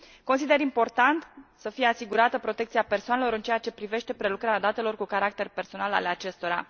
Consider important să fie asigurată protecția persoanelor în ceea ce privește prelucrarea datelor cu caracter personal ale acestora.